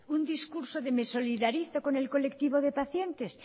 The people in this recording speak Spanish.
un discurso de me solidarizo con el colectivo de pacientes